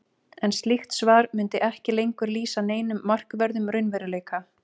en slíkt svar mundi ekki lengur lýsa neinum markverðum raunveruleika